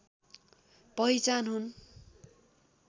पहिचान हुन्